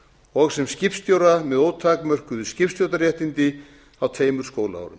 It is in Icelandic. og sem skipstjóra með ótakmörkuð skipstjórnarréttindi á tveimur skólaárum